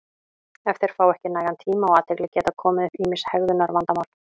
ef þeir fá ekki nægan tíma og athygli geta komið upp ýmis hegðunarvandamál